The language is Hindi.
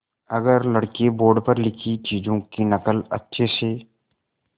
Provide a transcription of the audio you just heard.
अगर लड़के बोर्ड पर लिखी चीज़ों की नकल अच्छे से